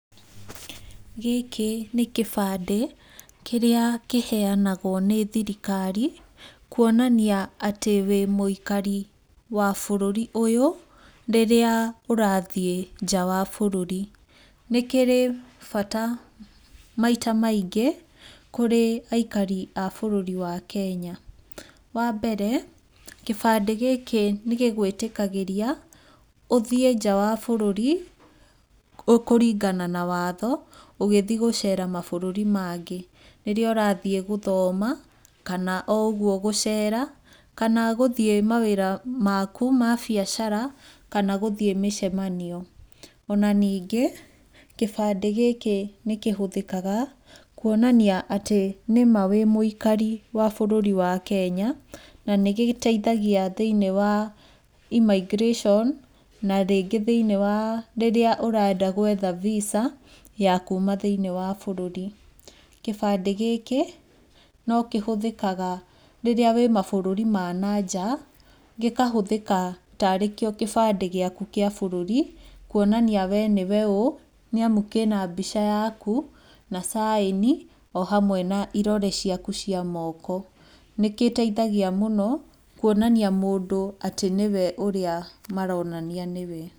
Gĩkĩ nĩ kĩbandĩ kĩríĩ kĩheanagwo nĩ thirikari kuonania atĩ wĩ mũikari wa bũrũri ũyũ rĩrĩa ũrathiĩ nja wa bũrũri. Nĩ kĩrĩ bata maita maingĩ kũrĩ aikari a bũrũri wa Kenya. Wa mbere, kĩbandĩ gĩkĩ nĩ gĩgwĩtĩkagĩria ũthiĩ nja wa bũrũri kũringana na watho ũgĩthi gũcera mabũrũri mangĩ, rĩrĩa ũrathi gũthoma, kana o ũguo gũcera, kana gũthi mawĩra maku ma biacara kana gũthiĩ mĩcemanio. Ona ningĩ, kĩbandĩ gĩkĩ nĩ kĩhũthĩkaga kuonania atĩ nĩma wĩ mũikari wa ũrũri wa Kenya na nĩ gĩteithagia thĩiniĩ wa immigration na rĩngĩ thĩiniĩ wa rĩrĩa ũrenda gwetha visa ya kuma thĩini wa bũrũri. Kĩbandĩ gĩkĩ no kĩhũthĩkaga rĩrĩa wĩ mabũrũri ma na nja, gĩkahũthĩka ta arĩ kĩo kĩbandĩ gĩaku kĩa bũrũri kuonania we nĩwe ũũ, nĩ amũ kĩ na mbica yaku na caĩni o hamwe na irore ciaku cia moko. Nĩ kĩteithagia mũno kuonania mũndũ atĩ nĩwe ũrĩa maronania nĩwe.